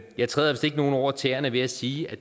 jeg træder vist ikke nogen over tæerne ved at sige at